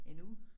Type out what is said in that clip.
En uge